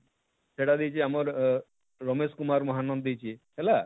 ଏଟା ଦେଇଛେ ଆମର ଅଁ ରମେଶ କୁମାର ମହାନନ୍ଦ ଦେଇଛେ ହେଲା,